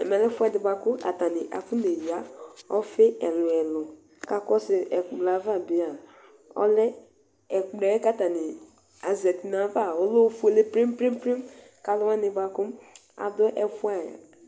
Ɛmɛ lɛ ɛfuɛ di bua ku afɔnéya ɔfi ɛluɛlu ka akɔsu ɛkplɛ va bia ɛkplɔ ka atani zɛti nayava ɔlɛ ofuélé plépléplém ka aluwani bua ku adu